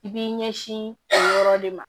I b'i ɲɛsin o yɔrɔ de ma